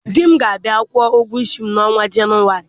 Di m ga-abịa kwụọ ụgwọ isi m n'ọnwa Jenụwarị.